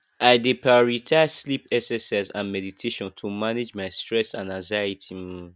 i dey prioritize sleep exercise and meditation to manage my stress and anxiety um